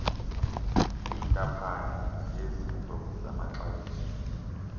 kwintaphane yezinto zamaxabiso